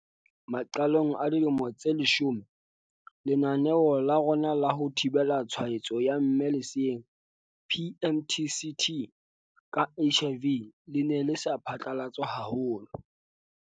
Maqalong a dilemo tse leshome, lenaneo la rona la ho thibela tshwaetso ya mme leseeng, PMTCT, ka HIV le ne le sa phatlalatswa haholo.